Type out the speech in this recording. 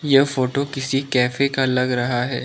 यह फोटो किसी कैफे का लग रहा है।